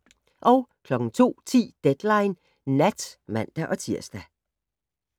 02:10: Deadline Nat (man-tir)